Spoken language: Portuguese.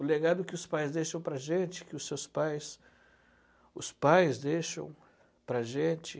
O legado que os pais deixam para a gente, que os seus pais, os pais deixam para a gente.